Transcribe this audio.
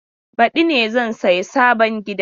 Badi ne zan saya sabon gidan.